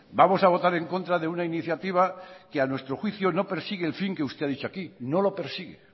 vamos a votar en contra de una iniciativa que a nuestro juicio no persigue el fin que usted ha dicho aquí no lo persigue